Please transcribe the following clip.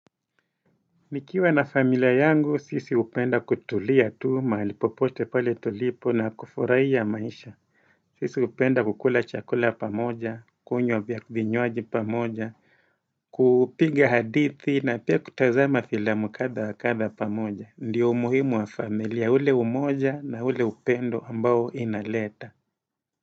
Nikiwa na familia yangu, sisi upenda kutulia tu mahali popote pale tulipo na kufurahia maisha. Sisi hupenda kukula chakula pamoja, kunywa vinywaji pamoja, kupiga hadithi na pia kutazama filamu kadha wa kadha pamoja. Ndio umuhimu wa familia, ule umoja na ule upendo ambao inaleta.